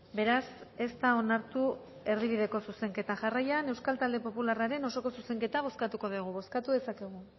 beraz ez da onartu erdi bideko zuzenketa jarraian euskal talde popularraren osoko zuzenketa bozkatuko dugu bozkatu dezakegu